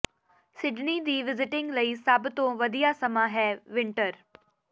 Sydney ਦੀ visiting ਲਈ ਸਭ ਤੋਂ ਵਧੀਆ ਸਮਾਂ ਵਿੰਟਰ ਹੈ